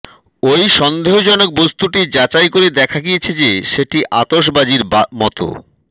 ওই সন্দেহজনক বস্তুটি যাচাই করে দেখা গিয়েছে যে সেটি আতসবাজির মতো